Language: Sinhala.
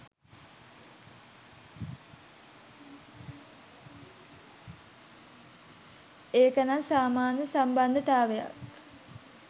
ඒකනම් සාමාන්‍ය සම්බන්දතාවයක්